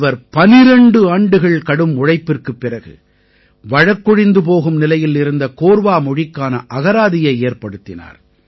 இவர் 12 ஆண்டுகள் கடும் உழைப்பிற்குப் பிறகு வழக்கொழிந்து போகும் நிலையில் இருந்த கோர்வா மொழிக்கான அகராதியை ஏற்படுத்தினார்